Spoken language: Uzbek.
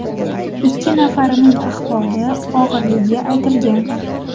Ikki nafarining ahvoli og‘irligi aytilgan.